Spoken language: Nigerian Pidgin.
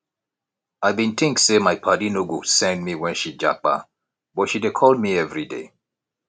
i bin tink sey my paddy no go send me wen she japa but she dey call me everyday